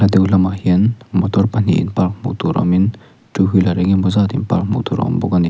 a deuh lamah hian motor pahnih in park hmuh tur awmin two wheeler engemaw zat in park hmuh tur a awm bawk ani.